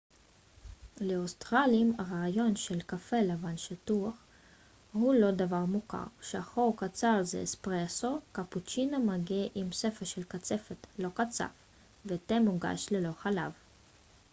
לאוסטרלים הרעיון של קפה 'לבן שטוח' הוא לא דבר מוכר. שחור קצר זה 'אספרסו' קפוצ'ינו מגיע עם שפע של קצפת לא קצף ותה מוגש ללא חלב